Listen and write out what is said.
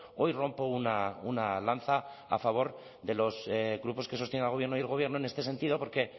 hoy rompo una lanza a favor de los grupos que sostienen al gobierno y el gobierno en este sentido porque